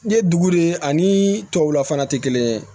N'i ye dugu de ani tubabula fana tɛ kelen ye